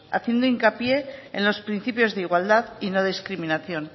haciendo hincapié en los principios de igualdad y no discriminación